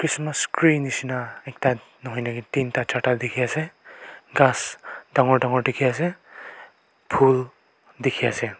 christmas kree nishina ekta nahoi nahoi tinta charta dikhiase ghas dangor dangor dikhiase phool dikhiase.